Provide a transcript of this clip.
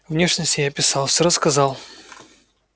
внешность я описал все рассказал